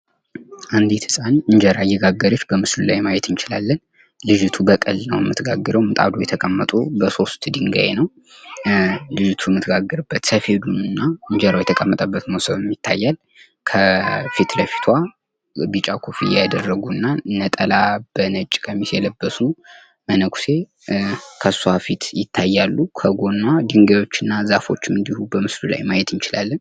አንድት ህጻን እንጀራ እየጋገረች በምስሉ ላይ ማየት እንችላለን። ልጅቱ በቅል ነው የምትጋግረው። ምጣዱ የተቀመጠው በሶስት ድንጋይ ነው። ልጅቱ የምትጋግርበት ሰፌዱንና እንጀራው የተቀመጠበት መሶብም ይታያል። ከፊት ለፊቷ ቢጫ ኮፍያ ያደረጉና ነጠላ በነጭ ቀሚስ የለበሱ መነኩሴ ከሷፊት ይታያሉ። ከጎኗ ድንጋዮችና ዛፎች እንድሁ በምስሉ ላይ ማየት እንችላለን።